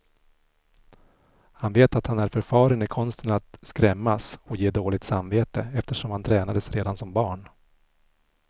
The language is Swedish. Han vet att han är förfaren i konsten att skrämmas och ge dåligt samvete, eftersom han tränades redan som barn.